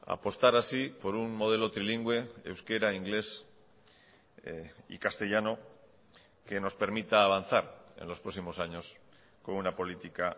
apostar así por un modelo trilingüe euskera inglés y castellano que nos permita avanzar en los próximos años con una política